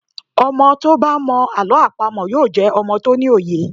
Ọmọ tí ó bá mọ Àlọ́ àpamọ̀ yóò jẹ́ ọmọ tó ní òye.